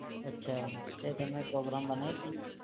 અચ્છા તે તમે program બનાવી દીધું?